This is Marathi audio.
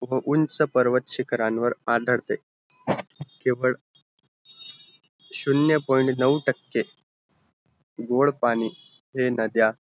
उंच पर्वत शिकरांवर आदळते केवळ शून्य point नौ टके गोड पाणी हे नदया